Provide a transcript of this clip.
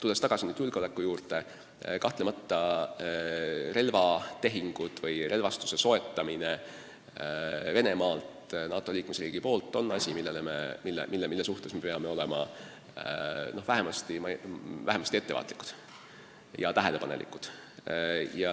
Mis puutub julgeolekusse, siis kahtlemata on relvastuse soetamine Venemaalt NATO liikmesriigi poolt asi, mille suhtes me peame olema vähemasti ettevaatlikud ja tähelepanelikud.